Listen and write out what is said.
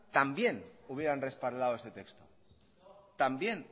también hubieran respaldo este texto también